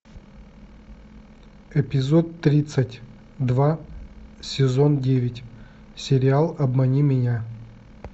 эпизод тридцать два сезон девять сериал обмани меня